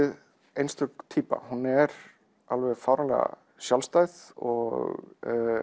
einstök týpa hún er alveg fáránlega sjálfstæð og